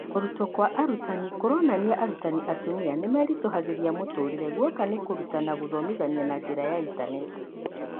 Kũrutwo kwa arutani kũronania arutani atumia nĩmeritũhagĩria mũtũrĩre guoka nĩ gũtaũkĩrwo gũthomithia na njĩra ya intaneti.